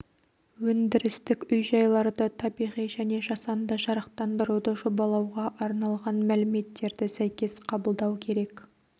өндірістік үй-жайларды табиғи және жасанды жарықтандыруды жобалауға арналған мәліметтерді сәйкес қабылдау керек